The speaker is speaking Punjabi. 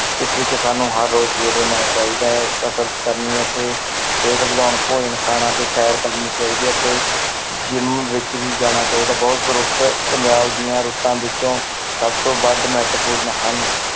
ਇਸ ਵਿੱਚ ਸਾਨੂੰ ਹਰ ਰੋਜ਼ ਸਵੇਰੇ ਚਾਹੀਦਾ ਹੈ ਕਸ਼ਰਤ ਕਰਨੀ ਅਤੇ ਸਿਹਤ ਵਧਾਉਣ ਭੋਜਨ ਖਾਣਾ ਤੇ ਸ਼ੈਰ ਕਰਨੀ ਚਾਹੀਦੀ ਹੈ ਅਤੇ gym ਵਿੱਚ ਵੀ ਜਾਣ ਚਾਹੀਦਾ ਹੈ l ਰੁੱਤ ਪੰਜਾਬ ਦੀਆਂ ਰੁੱਤਾਂ ਵਿੱਚੋਂ ਸਭ ਤੋਂ ਵੱਧ ਮਹੱਤਵਪੂਰਨ ਹਨ l